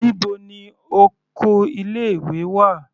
Níbo ni oko ilé ìwé wà.